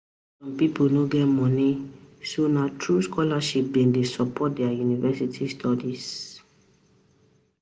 Some people no get money, so nah through scholarship Dem dey support their university studies.